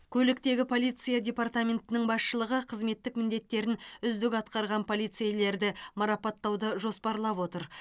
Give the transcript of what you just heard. көліктегі полиция департаментінің басшылығы қызметтік міндеттерін үздік атқарған полицейлерді марапаттауды жоспарлап отыр